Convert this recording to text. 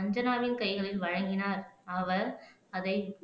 அஞ்சனாவின் கைகளில் வழங்கினார் அவர் அதை